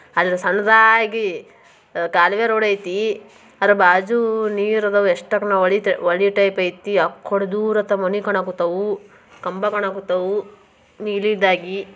ಅಲ್ಲಿ ಸಣ್ಣಾಗಿ ಗಾಲ್ವಿ ರೋಡ್ ಐತಿ ಬಾಜು ನೀರದವೇ ಎಷ್ಟಗುಣಕ್ ಇದು ರಾಮನೆಗೌಡ ಕಥೆ.